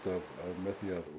það